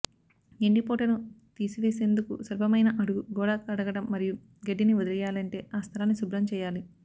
ఎండిపోవుటను తీసివేసేందుకు సులభమయిన అడుగు గోడ కడగడం మరియు గడ్డిని వదిలేయాలంటే ఆ స్థలాన్ని శుభ్రం చేయాలి